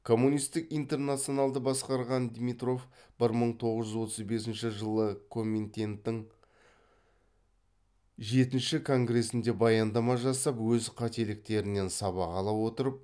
коммунитік интернационалды басқарған димитров бір мың тоғыз жүз отыз бесінші жылы коминтеннің жетінші конгресінде баяндама жасап өз қателіктерінен сабақ ала отырып